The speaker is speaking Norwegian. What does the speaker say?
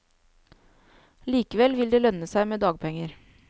Likevel vil det lønne seg med dagpenger.